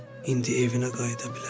İndi evinə qayıda bilərsən.